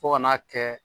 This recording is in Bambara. Fo ka n'a kɛ